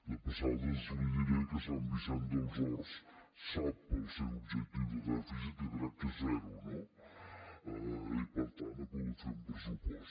de passada li diré que sant vicenç dels horts sap el seu objectiu de dèficit que crec que és zero no i per tant ha pogut fer un pressupost